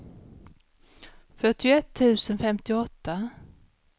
fyrtioett tusen femtioåtta